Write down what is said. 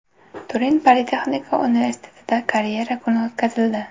Turin politexnika universitetida karyera kuni o‘tkazildi.